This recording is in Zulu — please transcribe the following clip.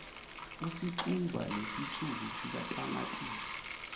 usixuba nesitshulu sikatamatisi